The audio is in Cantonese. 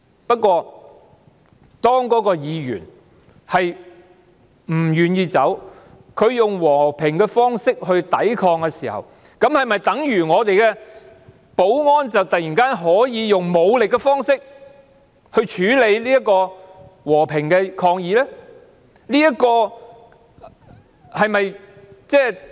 不過，當該位議員不願意離開，他以和平方式抵抗時，是否等於我們的保安人員可以用武力方式處理和平的抗議？